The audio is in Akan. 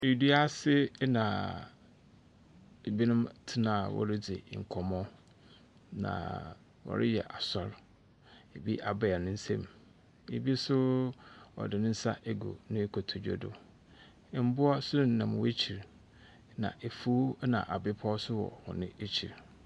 Dua ase na ebinom tena a wɔredzi nkɔmmɔ, na wɔreyɛ asɔr. Ebi abae ne nsam, ebi nso ɔse ne nsa agu ne kotodwe do. Mboa nso nam wɔn ekyir, na efuw na abepɔ nso wɔ hɔn ekyir.